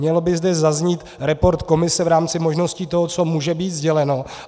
Měl by zde zaznít report komise v rámci možností toho, co může být sděleno.